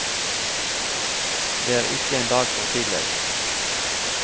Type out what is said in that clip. Det er ikke en dag for tidlig.